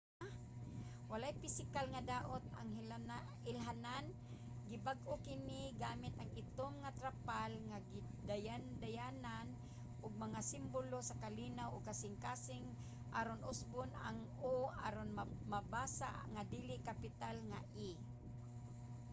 walay pisikal nga daot ang ilhanan; gibag-o kini gamit ang itom nga mga trapal nga gidayandayanan og mga simbolo sa kalinaw ug kasing-kasing aron usbon ang o aron mabasa nga dili-kapital nga e